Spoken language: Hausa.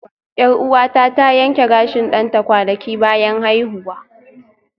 Yar'uwata ta yanke gashin ɗanta kwanaki bayan haihuwa